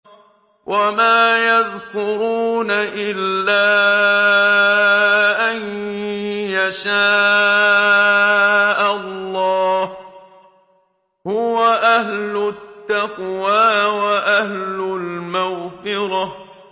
وَمَا يَذْكُرُونَ إِلَّا أَن يَشَاءَ اللَّهُ ۚ هُوَ أَهْلُ التَّقْوَىٰ وَأَهْلُ الْمَغْفِرَةِ